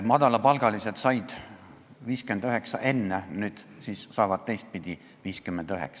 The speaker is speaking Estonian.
Madalapalgalised said enne 59 eurot, nüüd on siis teistpidi 59 eurot.